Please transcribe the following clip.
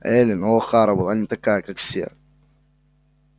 эллин охара была не такая как все